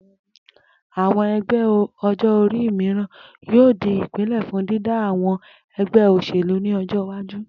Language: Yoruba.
Àwo̩n e̩gbé̩ o̩jó̩-orí mìíràn yóò di ìpìnlé̩ fún dídá àwo̩n e̩gbé̩ o̩s̩èlú ní o̩jó̩ iwájú